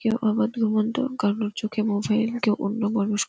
কেউ কারোর চোখে মোবাইল কেউ অন্য মনস্--